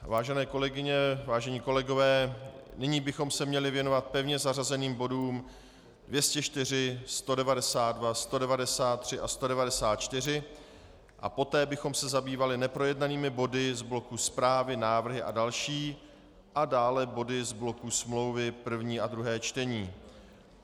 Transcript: Vážené kolegyně, vážení kolegové, nyní bychom se měli věnovat pevně zařazeným bodům 204, 192, 193 a 194 a poté bychom se zabývali neprojednanými body z bloku zprávy, návrhy a další a dále body z bloku smlouvy, první a druhé čtení.